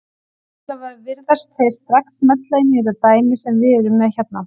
Allavega virðast þeir strax smella inn í þetta dæmi sem við erum með hérna.